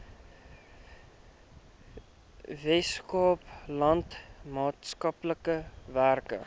weskaapland maatskaplike werk